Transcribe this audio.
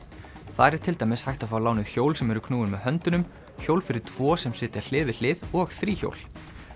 þar er til dæmis hægt að fá lánuð hjól sem eru knúin með höndunum hjól fyrir tvo sem sitja hlið við hlið og þríhjól